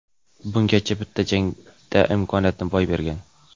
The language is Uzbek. Bungacha bitta jangda imkoniyatni boy bergan.